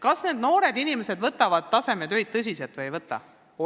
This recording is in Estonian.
Kas noored inimesed võtavad tasemetöid tõsiselt või ei võta?